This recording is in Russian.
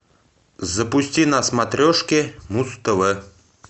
запусти на смотрешке муз тв